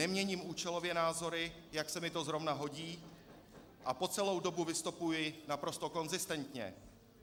Neměním účelově názory, jak se mi to zrovna hodí, a po celou dobu vystupuji naprosto konzistentně.